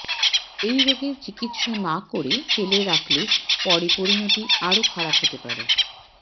এই রোগের চিকিৎসা না করে ফেলে রাখলে পরে পরিণতি আরও খারাপ হতে পারে